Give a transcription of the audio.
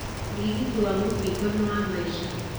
ũrigiti wa mũkingo nĩ wa maisha.